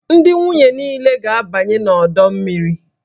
Ndị nwunye niile ga-abanye n'ọdọ mmiri